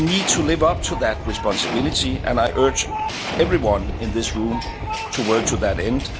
We need to live up to that responsibility and I urge everyone in this room to work to that